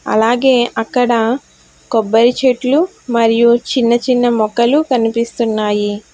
అలాగే అక్కడ కొబ్బరి చెట్లు మరియు చిన్న చిన్న మొక్కలు కనిపిస్తున్నాయి.